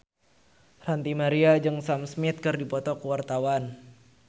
Ranty Maria jeung Sam Smith keur dipoto ku wartawan